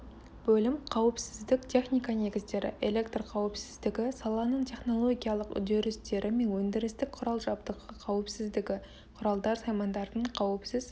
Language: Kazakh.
бөлім қауіпсіздік техника негіздері электрқауіпсіздігі саланың технологиялық үрдістері мен өндірістік құрал жабдығы қауіпсіздігі құралдар саймандардың қауіпсіз